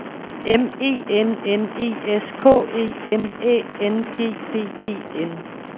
M E N N E S K E M Æ N G D E N